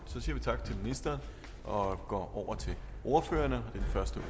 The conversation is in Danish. så siger vi tak til ministeren og går over til ordførerne den første